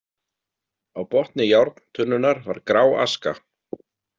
Á botni járntunnunnar var grá aska.